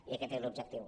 i aquest és l’objectiu